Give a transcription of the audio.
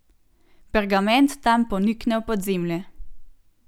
Pergament tam ponikne v podzemlje.